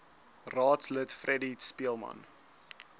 raadslid freddie speelman